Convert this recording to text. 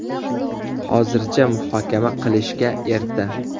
Hozircha muhokama qilishga erta.